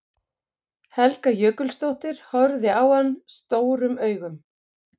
Helga Jökulsdóttir horfði á hann stórum augum.